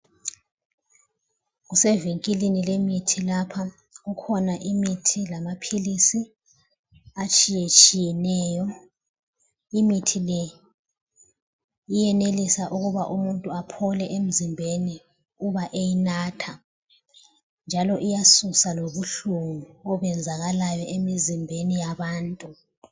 Kusevikilini lemithi lapha. Kukhona imithi lamaphilisi atshiyetshiyeneyo. Imithi le iyenelisa ukuba umuntu aphole emzimbeni uba eyinatha njalo iyasusa lobuhlungu obenzakalayo emizimbeni yabantu.